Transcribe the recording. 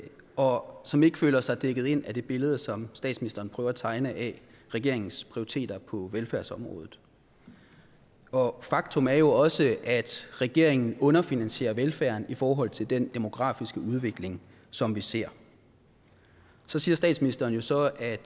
og som ikke føler sig dækket ind af det billede som statsministeren prøver at tegne af regeringens prioriteter på velfærdsområdet og faktum er jo også at regeringen underfinansierer velfærden i forhold til den demografiske udvikling som vi ser så siger statsministeren jo så at